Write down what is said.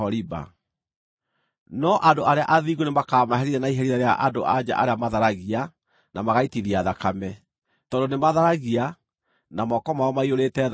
No andũ arĩa athingu nĩmakamaherithia na iherithia rĩa andũ-a-nja arĩa matharagia na magaitithia thakame, tondũ nĩmatharagia, na moko mao maiyũrĩte thakame.